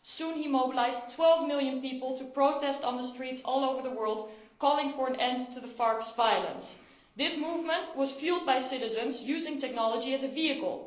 He soon mobilised 12 million people to protest on the streets all over the world calling for an end to FARC's violence. This movement was fuelled by citizens using technology as a vehicle.